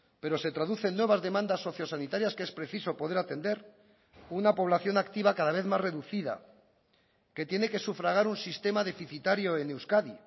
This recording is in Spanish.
pero se traduce en nuevas demandas socio sanitarias que es preciso poder atender una población activa cada vez más reducida que tiene que sufragar un sistema deficitario en euskadi